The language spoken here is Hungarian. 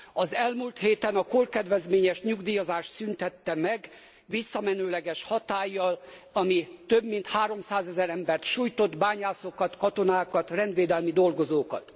Az elmúlt héten a korkedvezményes nyugdíjazást szüntette meg visszamenőleges hatállyal, ami több mint 300000 embert sújtott bányászokat, katonákat, rendvédelmi dolgozókat.